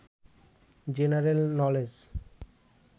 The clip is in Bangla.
general knowledge